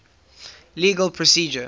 legal procedure